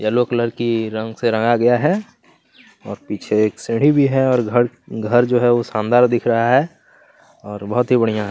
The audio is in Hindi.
येलो कलर की रंग से रंगा गया है और पीछे एक सीढ़ी भी है और घर घर जो है वो शानदार दिख रहा है और बहुत ही बढ़िया है।